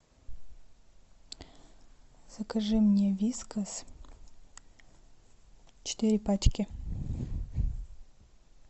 закажи мне вискас четыре пачки